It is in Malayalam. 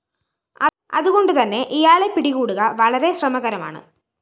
അതുകൊണ്ടുതന്നെ ഇയാളെ പിടികൂടുകവളരെ ശ്രമകരമാണ്